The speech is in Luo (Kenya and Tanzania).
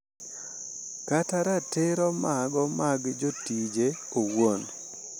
Kata ratiro mago mag jotije owuon.